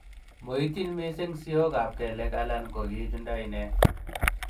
Moityin missing siyokab keliek alan ko kichunda ine.